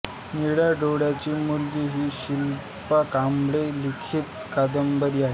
निळ्या डोळ्यांची मुलगी ही शिल्पा कांबळे लिखित कादंबरी आहे